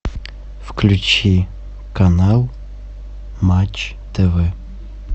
включи канал матч тв